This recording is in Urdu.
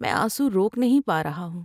میں آنسو روک نہیں پا رہا ہوں۔